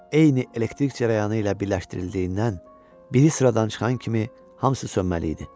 Eyni elektrik cərəyanı ilə birləşdirildiyindən biri sıradan çıxan kimi hamısı sönməli idi.